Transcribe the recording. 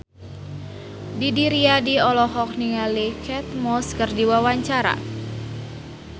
Didi Riyadi olohok ningali Kate Moss keur diwawancara